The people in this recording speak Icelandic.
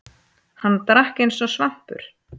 Hann drakk eins og svampur.